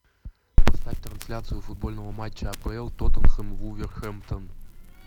поставь трансляцию футбольного матча апл тоттенхэм вулверхэмптон